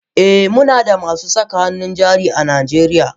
Eh Munada masu saka hannun jari a najeriya.